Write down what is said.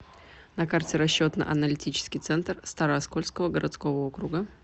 на карте расчетно аналитический центр старооскольского городского округа